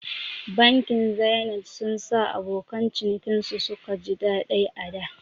Bankin Zenith sun sa abokan cinikin su suka ji daɗai ada